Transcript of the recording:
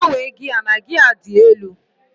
gbanwee gia na gia dị elu